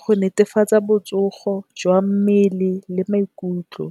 go netefatsa botsogo jwa mmele le maikutlo.